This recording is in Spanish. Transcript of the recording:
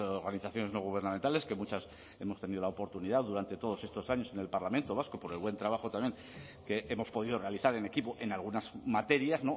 organizaciones no gubernamentales que muchas hemos tenido la oportunidad durante todos estos años en el parlamento vasco por el buen trabajo también que hemos podido realizar en equipo en algunas materias